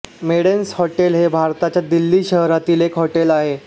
Maidens hotel हे भारताच्या दिल्ली शहरातील एक हॉटेल आहे